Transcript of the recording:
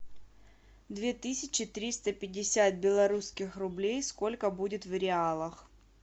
две тысячи триста пятьдесят белорусских рублей сколько будет в реалах